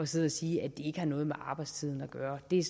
sidde og sige at det ikke har noget med arbejdstiden at gøre det er